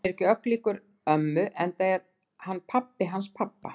Hann er ekki ögn líkur ömmu enda er hann pabbi hans pabba.